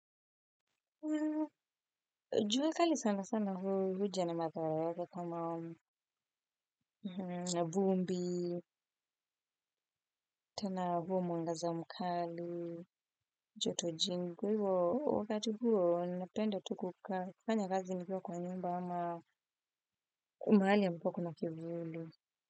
Jua kali sana sana huja na mathara yake kama na vumbi, tena huo mwangaza mkali, joto jingi, kwa hivyo wakati huo napenda tu kukaa kufanya kazi nikiwa kwa nyumba ama mahali ambao kuna kivuli.